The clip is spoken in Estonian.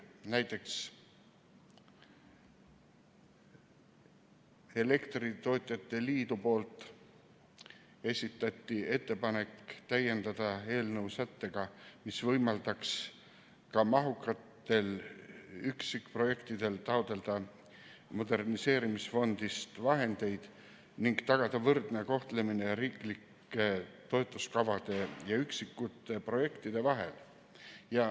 Näiteks, elektritootjate liit esitas ettepaneku täiendada eelnõu sättega, mis võimaldaks ka mahukatel üksikprojektidel taotleda moderniseerimisfondist vahendeid ning tagada võrdne kohtlemine riiklike toetuskavade ja üksikute projektide vahel.